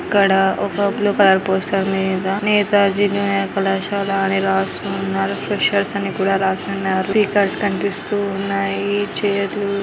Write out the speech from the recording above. ఎక్కడ ఒక blue colour poster మీద నేతాజీ జూనియర్ కళాశాల అని రాసి ఉన్నారు. ఫ్రెషర్స్ అన్ని కూడా రాసి ఉన్నారు స్టిక్కర్స్ కనిపిస్తూ ఉన్నాయి. చైర్లు ---